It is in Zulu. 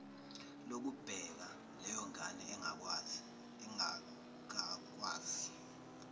lokubheka leyongane engakakwazi